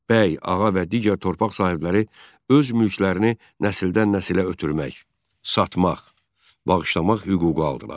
Bəy, ağa və digər torpaq sahibləri öz mülklərini nəsildən-nəsilə ötürmək, satmaq, bağışlamaq hüququ aldılar.